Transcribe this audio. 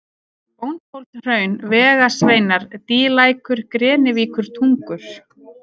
Bóndhólshraun, Vegasveinar, Dýlækur, Grenivíkurtungur